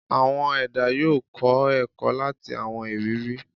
Awọn ẹda yoo kọ ẹkọ lati awọn iriri